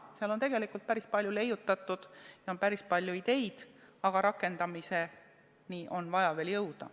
Seal on tegelikult päris palju leiutatud, seal on päris palju ideid, aga rakendamiseni on vaja veel jõuda.